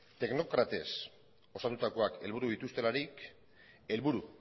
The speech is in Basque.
teknokratez osatutakoak helburu dituztelarik helburu